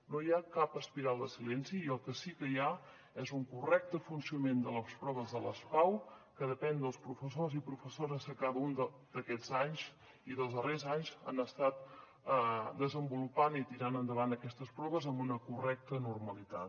no hi ha cap espiral de silenci i el que sí que hi ha és un correcte funcionament de les proves de les pau que depèn dels professors i professores que cada un d’aquests anys i dels darrers anys han estat desenvolupant i tirant endavant aquestes proves amb una correcta normalitat